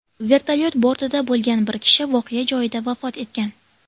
Vertolyot bortida bo‘lgan bir kishi voqea joyida vafot etgan.